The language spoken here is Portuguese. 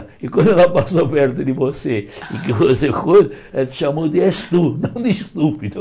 E quando ela passou perto de você e que você foi, ela te chamou de es tú, não de estúpido.